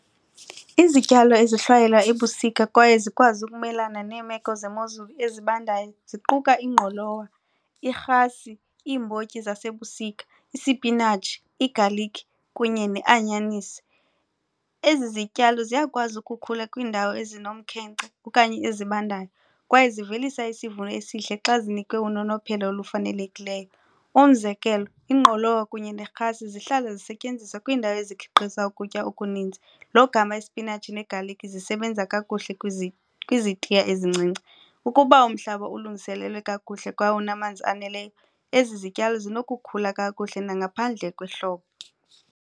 Izityalo ezihlwayelwa ebusika kwaye zikwazi ukumelana neemeko zemozulu ezibandayo ziquka ingqolowa, irhasi, iimbotyi zasebusika, isipinatshi, igalikhi kunye neanyanisi. Ezi zityalo ziyakwazi ukukhula kwiindawo ezinomkhenkce okanye ezibandayo kwaye zivelisa isivuno esihle xa zinikwe unonophelo olufanelekileyo. Umzekelo, ingqolowa kunye nerhasi zihlala zisetyenziswa kwiindawo ezikhiqiza ukutya okuninzi logama ispinatshi negalikhi zisebenza kakuhle kwizitiya ezincinci. Ukuba umhlaba ulungiselelwe kakuhle kwaye unamanzi aneleyo ezi zityalo zinokukhula kakuhle nangaphandle kwehlobo.